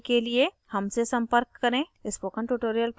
अधिक जानकारी के लिए हमसे संपर्क करें